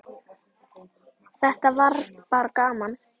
Þetta var bara gaman.